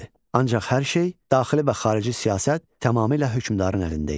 Ancaq hər şey daxili və xarici siyasət tamamilə hökmdarın əlində idi.